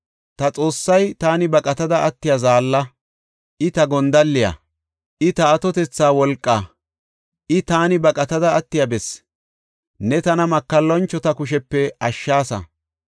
Ta Xoossay taani baqatada attiya zaalla; I ta gondalliya; I ta atotetha wolqaa. I taani baqatada attiya bessi; ne tana makallanchota kushepe ashshaasa.